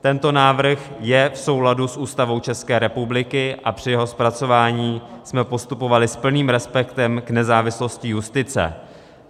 Tento návrh je v souladu s Ústavou České republiky a při jeho zpracování jsme postupovali s plným respektem k nezávislosti justice.